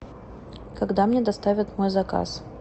когда мне доставят мой заказ